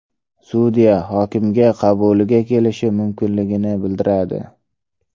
Sudya hokimga qabuliga kelishi mumkinligini bildiradi.